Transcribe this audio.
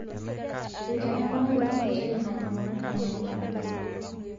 Eitanyamala ilo meitai ilmalimuni aing'elaki